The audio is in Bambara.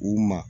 U ma